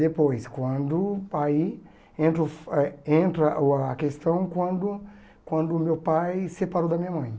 Depois, quando o pai... Entro eh entra uh a questão quando quando meu pai separou da minha mãe.